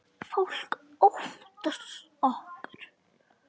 Fólk óttast okkur.